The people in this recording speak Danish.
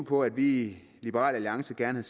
på at vi i liberal alliance gerne